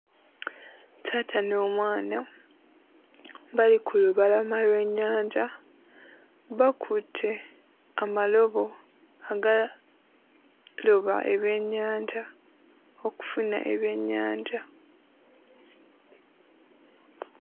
Taata n'omwana bali ku lubalama lw'ennyanja bakutte amalobo agaloba ebyennyanja okufuna ebyennyanja.